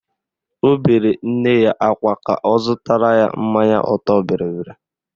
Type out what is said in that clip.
Ọ bere nne ya akwa ka ọ zụtara ya mmanya ọtọbịrịbịrị